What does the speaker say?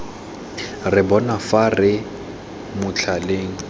re bona fa re motlhaleng